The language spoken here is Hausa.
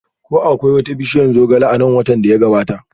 Ko akwai wata bishiyar zogale a nan watan da ya gabata?